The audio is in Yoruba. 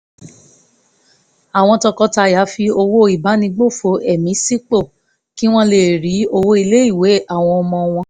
àwọn tọkọtaya fi owó ìbánigbófò ẹ̀mí sípò kí wọ́n lè rí owó ilé ìwé àwọn ọmọ wọn